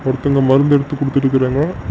ஒருத்தங்க மருந்து எடுத்து குடுத்துட்டு கிறங்க.